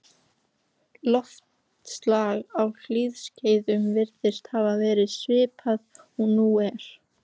Loftslag á hlýskeiðum virðist hafa verið svipað og nú er.